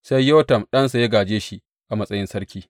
Sai Yotam ɗansa ya gāje shi a matsayin sarki.